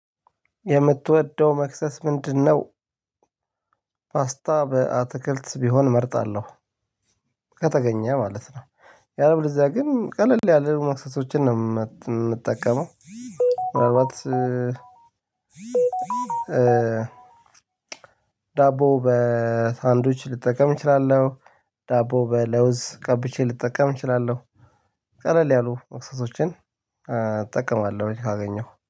የምትወደው መክሰስ ምንድ ነው? ፓስታ በአትክልት ቢሆን እመርጣለሁ ከተገኘ ማለት ነው። ያለበለዚያ ግን ቀለል ያለ መክሰሶችን ነው የምጠቀመው። ምናልባት ዳቦ በሳንድዊች ልጠቀም እችላለሁ። ዳቦ በለውዝ ቀብቼ ልጠቀም እችላለሁ። ቀለል ያሉ እክሰሶችን እጠቀማለሁ ካገኘሁ